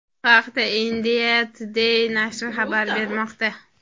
Bu haqda India Today nashri xabar bermoqda .